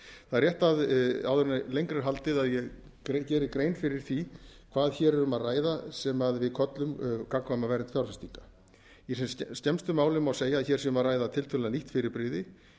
það er rétt áður en lengra er haldið að ég geri grein fyrir því hvað hér er um að ræða sem við köllum gagnkvæma vernd fjárfestinga í sem skemmstu máli má segja að hér sé um að ræða tiltölulega nýtt fyrirbrigði